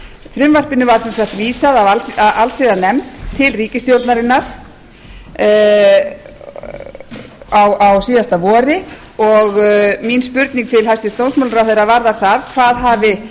frumvarpinu var sem vísað af allsherjarnefnd til ríkisstjórnarinnar á síðastliðnu vori og mín spurning til hæstvirts dómsmálaráðherra varðar það hvað hafi